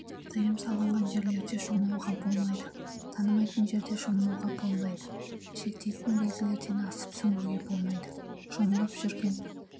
тыйым салынған жерлерде шомылуға болмайды танымайтын жерде шомылуға болмайды шектейтін белгілерден асып сүңгуге болмайды шомылып жүрген